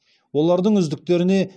олардың үздіктеріне